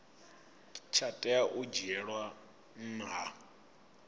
tsha tea u dzhielwa nha